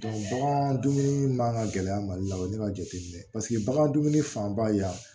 bagan dumuni man ka gɛlɛya mali la o ye ne ka jateminɛ ye paseke bagan dumuni fanba ye yan